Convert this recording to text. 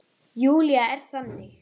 Júlía er þannig.